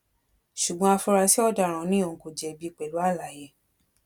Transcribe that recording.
ṣùgbọn afurasí ọdaràn ni òun kò jẹbi pẹlú àlàyé